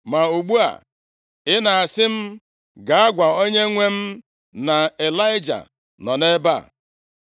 Ma ugbu a, ị na-asị m gaa gwa Onyenwe m na, ‘Ịlaịja nọ nʼebe a.’